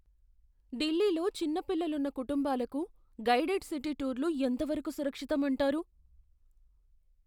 ఢిల్లీలో చిన్న పిల్లలున్న కుటుంబాలకు గైడెడ్ సిటీ టూర్లు ఎంత వరకు సురక్షితం అంటారు?